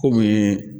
Kɔmi